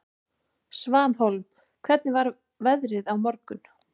Svanhólm, hvernig er veðrið á morgun?